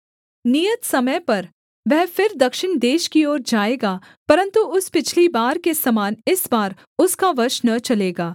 नियत समय पर वह फिर दक्षिण देश की ओर जाएगा परन्तु उस पिछली बार के समान इस बार उसका वश न चलेगा